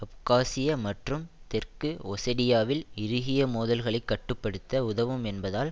அப்காசியா மற்றும் தெற்கு ஒசெடியாவில் இறுகிய மோதல்களைக் கட்டு படுத்த உதவும் என்பதால்